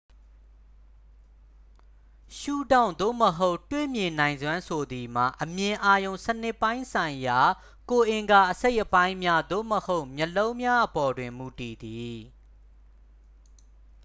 ရှုထောင့် သို့မဟုတ် တွေ့မြင်နိုင်စွမ်း ဆိုသည်မှာ အမြင်အာရုံစနစ်ပိုင်းဆိုင်ရာ ကိုယ်အင်္ဂါအစိတ်အပိုင်းများ သို့မဟုတ် မျက်လုံးများအပေါ်တွင် မူတည်သည်